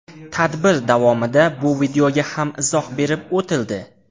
Tadbir davomida bu videoga ham izoh berib o‘tildi.